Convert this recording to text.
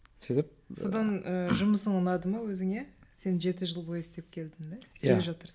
сөйтіп содан ы жұмысың ұнады ма өзіңе сен жеті жыл бойы істеп келдің да иә